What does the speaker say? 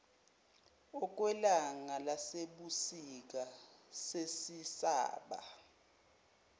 okwelanga lasebusika sezisaba